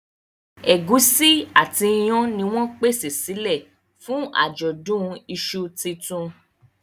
Egusi àti iyán ní wón pèsè silẹ fún ajọdun iṣu títún.